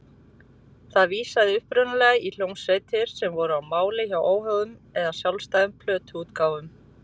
Það vísaði upprunalega í hljómsveitir sem voru á mála hjá óháðum eða sjálfstæðum plötuútgáfum.